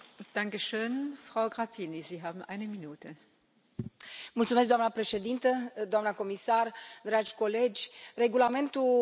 Doamna președintă, doamna comisar, dragi colegi, regulamentul pentru drepturile și obligațiile pasagerilor vine după zece ani.